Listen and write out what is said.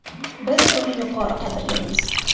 Biz buni yuqori qadrlaymiz.